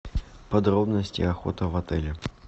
подробности охоты в отеле